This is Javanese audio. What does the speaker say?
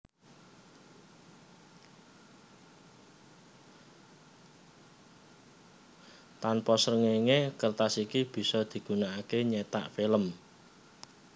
Tanpa srengenge kertas iki bisa digunakake nyetak film